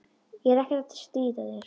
Ég er ekkert að stríða þér.